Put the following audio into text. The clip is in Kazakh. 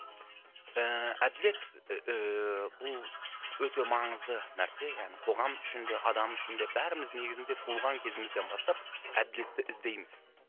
ііі әділет ііі бұл өте маңызды нәрсе яғни қоғам үшін де адам үшін де бәріміз негізінде туылған кезімізден бастап әділетті іздейміз